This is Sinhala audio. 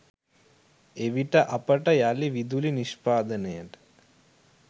එවිට අපට යළි විදුලි නිෂ්පාදනයට